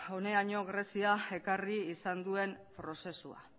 honaino greziak ekarri izan duen prozesua